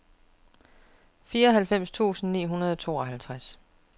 fireoghalvfems tusind ni hundrede og tooghalvtreds